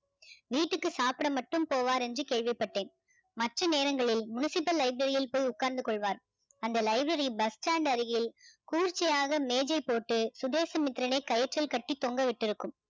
வீட்டுக்கு சாப்பிட மட்டும் போவார் என்று கேள்விப்பட்டேன் மற்ற நேரங்களில் municipal library யில் போய் உட்கார்ந்து கொள்வார் அந்த library bus stand அருகில் குளிர்ச்சியாக மேஜை போட்டு சுதேசமித்திரனை கயிற்றில் கட்டி தொங்க விட்டிருக்கும்